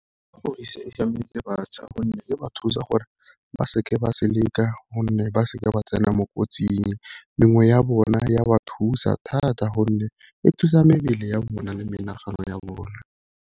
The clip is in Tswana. batjha gonne e ba thusa gore ba seke ba gonne ba seke ba tsena mo kotsing, mengwe ya bona ya ba thusa thata gonne e thusa mebele ya bona le menagano ya bona.